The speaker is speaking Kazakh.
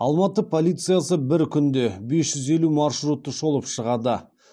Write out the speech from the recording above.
алматы полициясы бір күнде бес жүз елу маршрутты шолып шығады